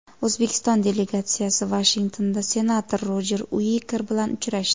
O‘zbekiston delegatsiyasi Vashingtonda senator Rojer Uiker bilan uchrashdi.